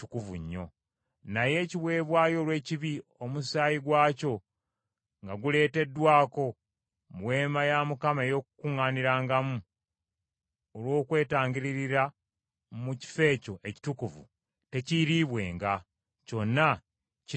Naye ekiweebwayo olw’ekibi, omusaayi gwakyo nga guleeteddwako mu Weema ey’Okukuŋŋaanirangamu olw’okwetangirira mu kifo ekyo ekitukuvu, tekiiriibwenga, kyonna kinaayokebwanga.